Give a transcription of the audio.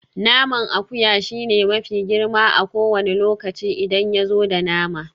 Naman akuya shine mafi girma a kowane lokaci idan yazo da nama.